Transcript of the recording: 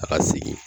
A ka segin